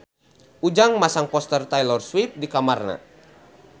Ujang masang poster Taylor Swift di kamarna